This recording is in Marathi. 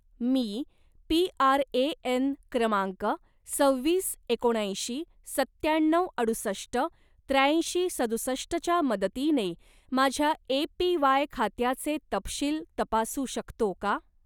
मी पी.आर.ए.एन. क्रमांक सव्वीस एकोणऐंशी सत्त्याण्णव अडुसष्ट त्र्याऐंशी सदुसष्ट च्या मदतीने माझ्या ए.पी.वाय. खात्याचे तपशील तपासू शकतो का?